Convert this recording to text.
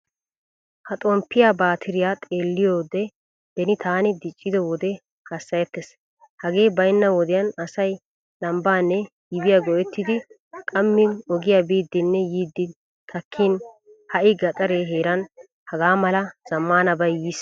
Ha xomppiyaa baatiriya xeeliyode beni taani diccido wode hasayettees. Hagee baynna wodiyan asay lambanne yibiya go'ettidi qammi ogiyaa biidinne yiidi takkin hai gaxare heeran hagamal zamaanabay yiis.